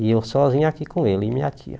E eu sozinho aqui com ele e minha tia.